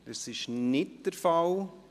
– Das ist nicht der Fall.